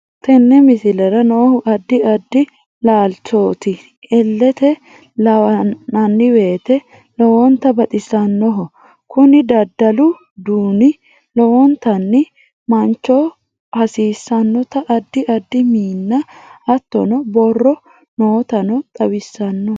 Tenne miisilera noohu addi addi laalchotti ellete laananwete loownta baaxisanoho kunni dadallu duuni loowonta maanchoo hasisannota addi addi miina haatono borro nootano xawisano.